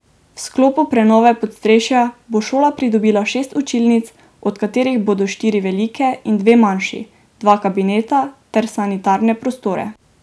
V sklopu prenove podstrešja bo šola pridobila šest učilnic, od katerih bodo štiri velike in dve manjši, dva kabineta ter sanitarne prostore.